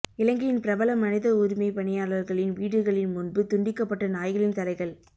இலங்கையின் பிரபல மனித உரிமைப் பணியாளர்களின் வீடுகளின் முன்பு துண்டிக்கப்பட்ட நாய்களின் தலைகள்